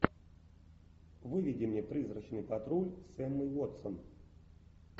выведи мне призрачный патруль с эммой уотсон